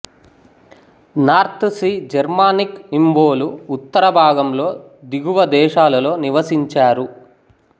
north Sea Germanic ఇంవ్వోలు ఉత్తర భాగంలో దిగువ దేశాలలో నివసించారు